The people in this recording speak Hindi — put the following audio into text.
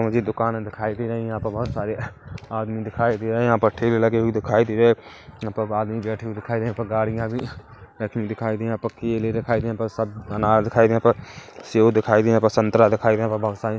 मुझे दुकान दिखाई दे रही है यहाँ पर बहोत सारे आदमी दिखाई दे रहे है यहाँ भट्ठे भी लगे हुए दिखाई दे रहे है यहाँ पर आदमी बैठे हुए दिखाई दे रहे है यहाँ पर गाड़ियां भी रखी हुई दिखाई दे रही है यहाँ पर केले दिखाई दे यहाँ पर सब अनार दिखाई दे यहाँ प सेब दिखाई दे यहाँ पर संतरा दिखाई दे रहे है प बहुत सारे --